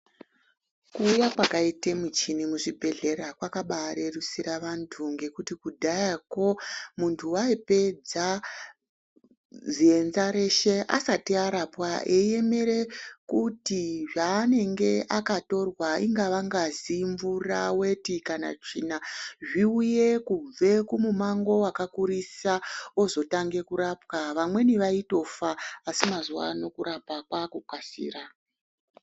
Kuuya kwakaite michini muzvibhedhlera kwakabarerusira vantu ngekuti kudhayako muntu aipedza zienza reshe asati arapwa eiemere kuti zvaanenge akatorwa ingava ngazi, mvura, weti kana tsvina zviuye kubve kumumango wakakurisa wozotange kurapwa. Vamweni vaitofa, asi mazuvano kurapwa kwakukasira.